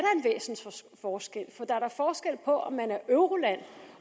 forskel på om man er euroland